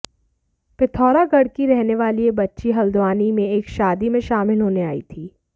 पिथौरागढ की रहने वाली यह बच्ची हल्द्वानी में एक शादी में शामिल होने आई थी